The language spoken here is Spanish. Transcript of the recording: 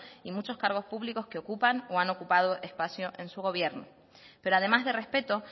y muchos cargos públicos que ocupan o han ocupado espacio en su gobierno pero además de respeto